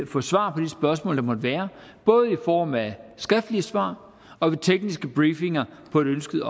få svar på de spørgsmål der måtte være både i form af skriftlige svar og ved tekniske briefinger på et ønsket